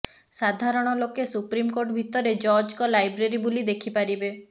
ସାଧାରଣ ଲୋକେ ସୁପ୍ରିମକୋର୍ଟ ଭିତରେ ଜଜଙ୍କ ଲାଇବ୍ରେରୀ ବୁଲି ଦେଖିପାରିବେ